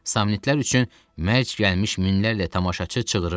Samnitlər üçün mərc gəlmiş minlərlə tamaşaçı çığırırdı.